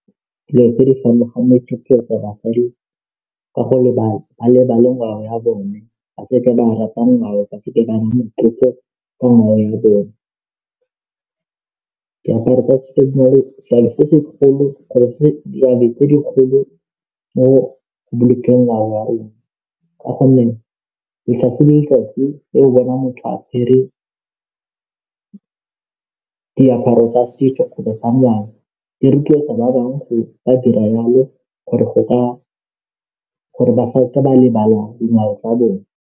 Dilo tse di farologaneng ke go ra gore ka go lebaka a lebale ngwao ya bone ba seke ba nna motlotlo ka ngwao ya bone dikgolo mo go bolokeng ngwao wa rona ka gonne letsatsi le letsatsi o bona motho apere diaparo tsa setso kgotsa tsa ngwao di rotloetsa ba bangwe go ka dira yalo gore ba seka lebala dingwao tsa bone.